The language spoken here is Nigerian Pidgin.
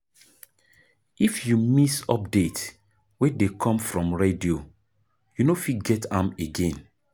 If you miss update wey dey come from radio, you no fit get am again